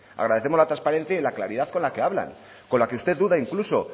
agradecemos la transparencia y la claridad con la que hablan con la que usted duda incluso